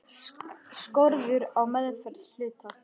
Skorður á meðferð hluta.